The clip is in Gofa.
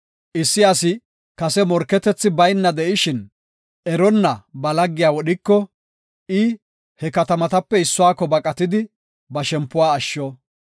Issi asi kase morketethi bayna de7ishin, eronna ba laggiya wodhiko, I he katamatape issuwako baqatidi ba shempuwa ashsho.